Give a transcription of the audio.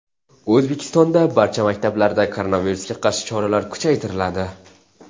O‘zbekistondagi barcha maktablarda koronavirusga qarshi choralar kuchaytiriladi.